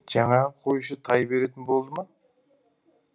жаңағы қойшы тай беретін болды ма